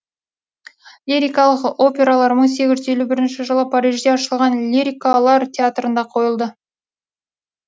лирикалық опералар мың сегіз жүз елу бірінші жылы парижде ашылған лирикалар театрында қойылды